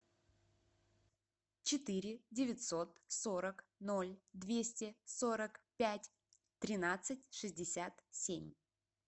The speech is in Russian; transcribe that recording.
четыре девятьсот сорок ноль двести сорок пять тринадцать шестьдесят семь